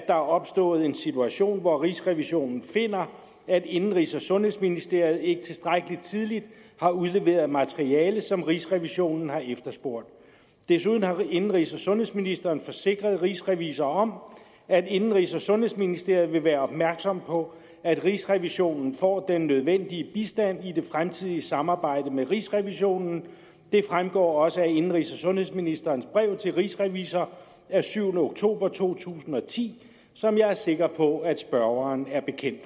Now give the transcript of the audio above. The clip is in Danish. er opstået en situation hvor rigsrevisionen finder at indenrigs og sundhedsministeriet ikke tilstrækkelig tidligt har udleveret materiale som rigsrevisionen har efterspurgt desuden har indenrigs og sundhedsministeren forsikret rigsrevisor om at indenrigs og sundhedsministeriet vil være opmærksom på at rigsrevisionen får den nødvendige bistand i det fremtidige samarbejde med rigsrevisionen det fremgår også af indenrigs og sundhedsministerens brev til rigsrevisor af syvende oktober to tusind og ti som jeg er sikker på at spørgeren er bekendt